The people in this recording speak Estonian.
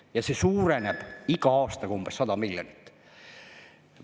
Ja see suureneb iga aastaga umbes 100 miljonit.